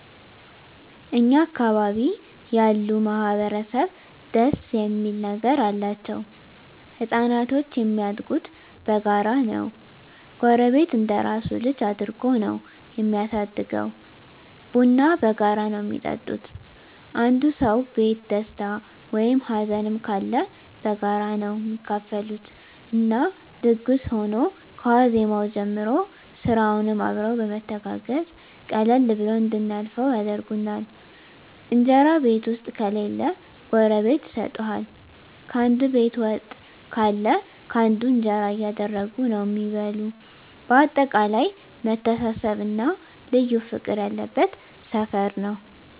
እኛ አካባቢ ያሉ ማህበረሰብ ደስ እሚል ነገር አላቸዉ። ህፃናቶች እሚያድጉት በጋራ ነዉ ጎረቤት እንደራሱ ልጅ አድርጎ ነዉ እሚያሳድገዉ፣ ቡና በጋራ ነዉ እሚጠጡት፣ አንዱ ሰዉ ቤት ደስታ ወይም ሀዘንም ካለ በጋራ ነዉ እሚካፈሉት እና ድግስ ሁኖ ከዋዜማዉ ጀምሮ ስራዉንም አብረዉ በመተጋገዝ ቀለል ብሎን እንድናልፈዉ ያደርጉናል። እንጀራ ቤት ዉስጥ ከሌለ ጎረቤት ይሰጡሀል፣ ካንዱ ቤት ወጥ ካለ ካንዱ እንጀራ እያደረጉ ነዉ እሚበሉ በአጠቃላይ መተሳሰብ እና ልዩ ፍቅር ያለበት ሰፈር ነዉ።